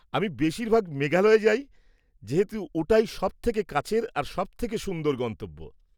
-আমি বেশিরভাগ মেঘালয়ে যাই, যেহেতু ওটাই সবথেকে কাছের আর সবথেকে সুন্দর গন্তব্য।